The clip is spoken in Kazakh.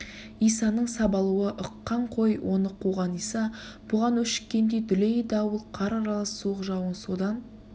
исаның сабалуы ыққан қой оны қуған иса бұған өшіккендей дүлей дауыл қар аралас суық жауын содан